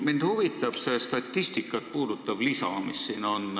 Mind huvitab see statistikat puudutav lisa, mis siin on.